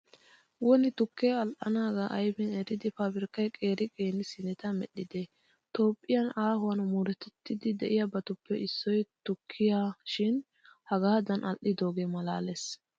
Woni tukkee al"anaagaa aybin eridi paabirkkay qeera qeera siineta medhdhidee! Toophphiya aahuwan murutettiiddi de'iyabatuppe issoy tukkiya shin hagaadan al"idoogee maalaalees.